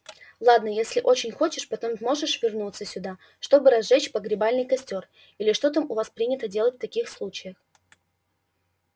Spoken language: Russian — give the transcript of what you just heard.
ладно если очень хочешь потом сможешь вернуться сюда чтобы разжечь погребальный костёр или что там у вас принято делать в таких случаях